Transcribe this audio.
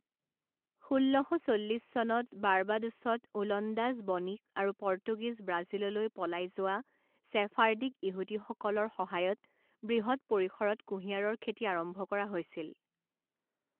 ষোল্ল শ চল্লিছ চনত বাৰ্বাডোছত ওলন্দাজ বণিক আৰু পৰ্তুগীজ ব্ৰাজিললৈ পলাই যোৱা চেফাৰ্ডিক ইহুদীসকলৰ সহায়ত বৃহৎ পৰিসৰত কুঁহিয়াৰৰ খেতি আৰম্ভ কৰা হৈছিল।